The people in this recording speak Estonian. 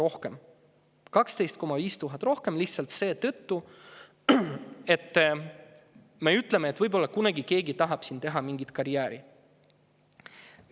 Tuleb maksta 12 500 eurot rohkem lihtsalt seetõttu, et me ütleme, et võib-olla kunagi keegi tahab sinna teha mingit karjääri.